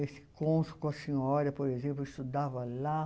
Esse cônsul com a senhora, por exemplo, eu estudava lá.